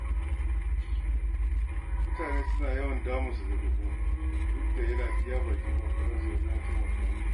Mutane suna yawan damun sa da roƙo, duk da yana iya bakin ƙoƙarinsa wajen taimaka musu.